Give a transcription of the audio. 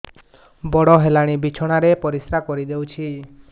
ବଡ଼ ହେଲାଣି ବିଛଣା ରେ ପରିସ୍ରା କରିଦେଉଛି